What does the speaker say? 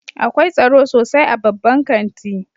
Akwai tsaro sosai a babban kanti